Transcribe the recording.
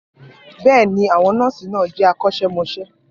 Bẹ́ẹ̀ ni, àwọn nọ́ọ̀sì náà jẹ́ akọ́ṣẹ́mọṣẹ́